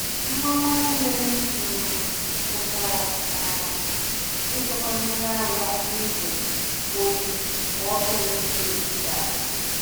Nwa nwanne m um mụtara um ịchekwa mmiri ara n’igbe oyi mgbe ọkụ eletrik daa.